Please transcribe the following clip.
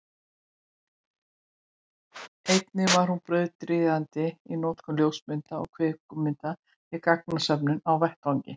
einnig var hún brautryðjandi í notkun ljósmynda og kvikmynda við gagnasöfnun á vettvangi